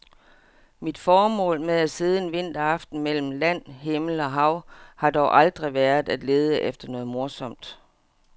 Mit formål med at sidde en vinteraften mellem land, himmel og hav har dog aldrig været at lede efter noget morsomt.